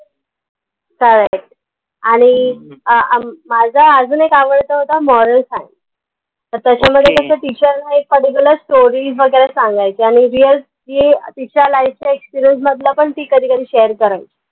आह म माझा अजून एक आवडता होता moral science त त्याच्या मध्ये teacher एक particularstory वगैरे सांगायचं आनि real जी तिच्या life चा experience मधलं पन ती कधी कधी share करायची